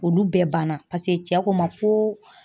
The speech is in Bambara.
Olu bɛɛ banna paseke cɛ ko ma ko